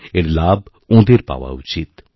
এর লাভ ওঁদের পাওয়াউচিত